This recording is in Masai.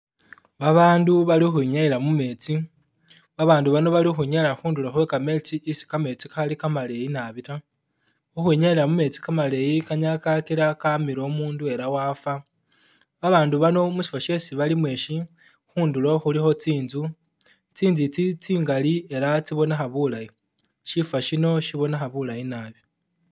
Babaandu bali ukhwinyayila mu metsi, babaandu bano bali ukhwinyayila khundulo khwe kametsi isi kakhali kamaleyi nabi ta, ukhwinyayila mu metsi kamaleyi kanyala kakila kamila umundu ela wafa, babaandu bano mushifo shesi balimo ishi, khundulo khulikho tsinzu, tsinzu itsi tsingali ela tsibonekha bulayi, shifo shino shibonekha bulayi naabi.